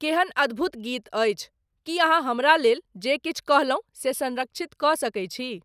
केहन अद्भुत गीत अछि, की अहाँ हमरा लेल जे किछु कहलहुँ से संरक्षित कऽ सकैत छी?